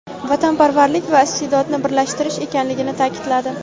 vatanparvarlik va iste’dodni birlashtirish ekanligini ta’kidladi.